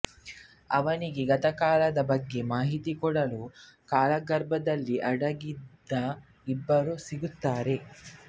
ಅವನಿಗೆ ಗತಕಾಲದ ಬಗ್ಗೆ ಮಾಹಿತಿ ಕೊಡಲು ಕಾಲಗರ್ಭದಲ್ಲಿ ಅಡಗಿದ್ದ ಇಬ್ಬರು ಸಿಗುತ್ತಾರೆ